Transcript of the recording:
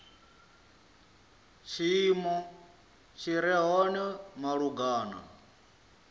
tshiimo tshi re hone malugana